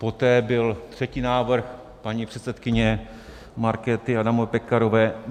Poté byl třetí návrh paní předsedkyně Markéty Adamové Pekarové.